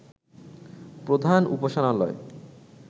প্রধান উপাসনালয়